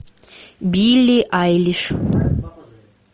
билли айлиш